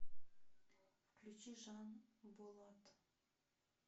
включи жанболат